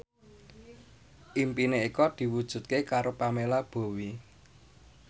impine Eko diwujudke karo Pamela Bowie